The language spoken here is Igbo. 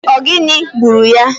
Ogini gburu ya?